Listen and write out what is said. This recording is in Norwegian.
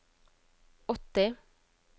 åtti